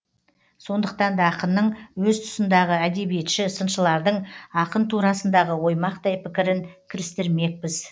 сондықтан да ақынның өз тұсындағы әдебиетші сыншылардың ақын турасындағы оймақтай пікірін кірістірмекпіз